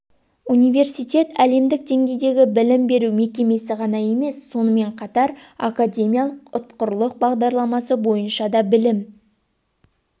университет әлемдік деңгейдегі білім беру мекемесі ғана емес сонымен қатар академиялық ұтқырлық бағдарламасы бойынша да білім